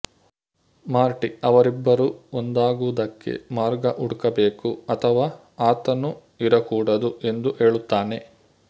ಮಾರ್ಟಿ ಅವರಿಬ್ಬರು ಒಂದಾಗುವುದಕ್ಕೆ ಮಾರ್ಗ ಹುಡುಕಬೇಕು ಅಥವಾ ಆತನು ಇರಕೂಡದು ಎಂದು ಹೇಳುತ್ತಾನೆ